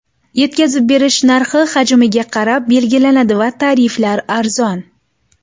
Yetkazib berish narxi hajmga qarab belgilanadi va tariflar arzon.